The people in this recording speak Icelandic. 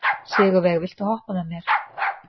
Sigurveig, viltu hoppa með mér?